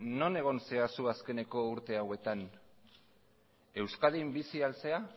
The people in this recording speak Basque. non egon zara zu azkeneko urte hauetan euskadin bizi al zara